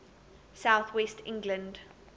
south west england